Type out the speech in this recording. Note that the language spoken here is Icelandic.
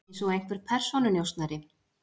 Eins og einhver persónunjósnari.